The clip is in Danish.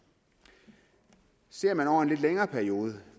ser man over en lidt længere periode